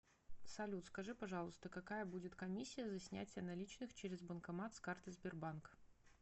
салют скажи пожалуйста какая будет комиссия за снятие наличных через банкомат с карты сбербанк